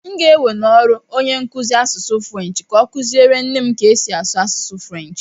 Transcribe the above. M ga-ewe n'ọrụ onye nkuzi asụsụ Frenshi ka ọ kụziere nne m ka esi asụ asụsụ Frenshi.